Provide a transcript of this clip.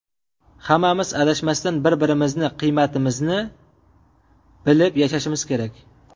Hammamiz adashmasdan, bir-birimizni qiymatimizni bilib yashashimiz kerak.